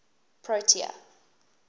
protea